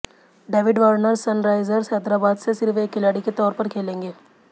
David Warner Sunrisers Hyderabad से सिर्फ एक खिलाड़ी के तौर पर खेलेंगे